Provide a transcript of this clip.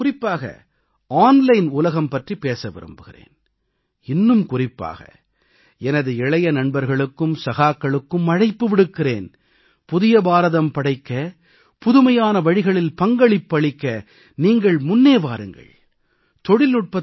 நான் இன்று குறிப்பாக ஆன்லைன் உலகம் பற்றி பேச விரும்புகிறேன் இன்னும் குறிப்பாக எனது இளைய நண்பர்களுக்கும் சகாக்களுக்கும் அழைப்பு விடுக்கிறேன் புதிய பாரதம் படைக்க புதுமையான வழிகளில் பங்களிப்பு அளிக்க நீங்கள் முன்னே வாருங்கள்